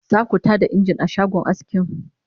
zaku Tada engine a shagon askin?